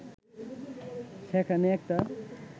সেখানে একটা